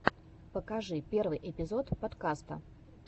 покажи первый эпизод подкаста